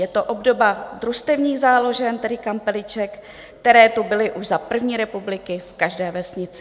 Je to obdoba družstevních záložen, tedy kampeliček, které tu byly už za první republiky v každé vesnici.